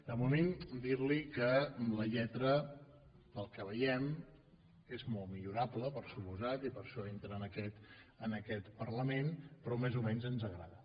de moment dir li que la lletra pel que veiem és molt millorable per descomptat i per això entra en aquest parlament però més o menys ens agrada